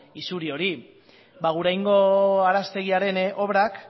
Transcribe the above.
isuri hori ba aguraingo araztegiaren obrak